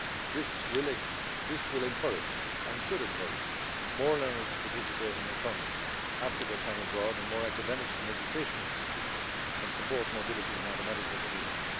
This will encourage and should encourage more learners to participate and return after their time abroad, and more academic and education institutes can support mobility and automatic recognition.